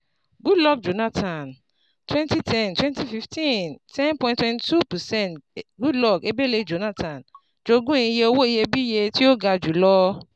Goodluck Jonathan twenty ten twenty fifteen ten point twenty two percent Goodluck Ebele Jonathan jogún iye owo iyebiye ti o ga julọ